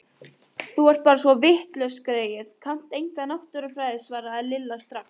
Þú ert bara svo vitlaus greyið, kannt enga náttúrufræði svaraði Lilla strax.